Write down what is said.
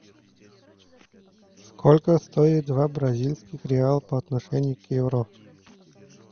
сколько стоит два бразильских реала по отношению к евро